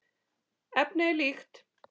Efnið er líkt.